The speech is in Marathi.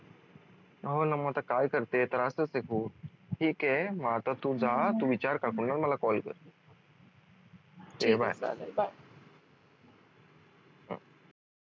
हो न मग आता काय करते त्रासच आहे खूप ठीक आहे मग आता तू जा तू विचार काकूंना मला call कर